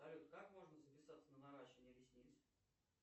салют как можно записаться на наращивание ресниц